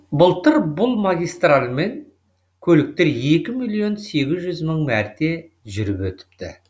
былтыр бұл магистральмен көліктер екі миллион сегіз жүз мың мәрте жүріп өтіпті